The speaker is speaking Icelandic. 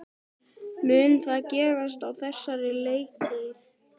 Mun það gerast á þessari leiktíð?